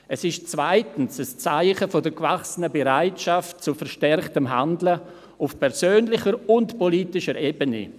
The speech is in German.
Zweitens ist es ein Zeichen der gewachsenen Bereitschaft zu verstärktem Handeln auf persönlicher und politischer Ebene.